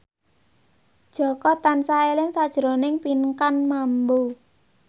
Jaka tansah eling sakjroning Pinkan Mambo